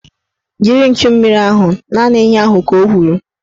Jiri nchummiri ahụ! Naanị ihe ahụ ka o kwuru